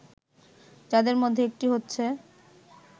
যাদের মধ্যে একটি হচ্ছে